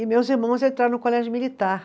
E meus irmãos entraram no colégio militar.